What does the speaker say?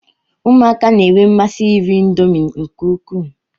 Ụmụaka na-enwe mmasị iri indomi nke ukwuu.